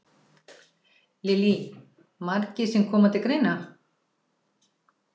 Lillý: Margir sem koma til greina?